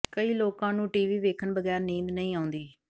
ਕਈ ਲੋਕਾਂ ਨੂੰ ਟੀਵੀ ਵੇਖਣ ਬਗੈਰ ਨੀਂਦ ਨਹੀਂ ਆਉਂਦੀ